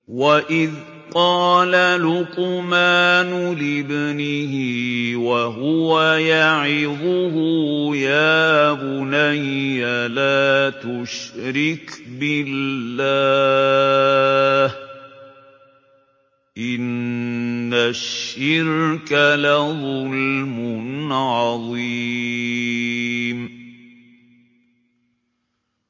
وَإِذْ قَالَ لُقْمَانُ لِابْنِهِ وَهُوَ يَعِظُهُ يَا بُنَيَّ لَا تُشْرِكْ بِاللَّهِ ۖ إِنَّ الشِّرْكَ لَظُلْمٌ عَظِيمٌ